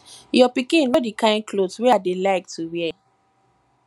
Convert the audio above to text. your pikin know the kin cloth wey i dey like to wear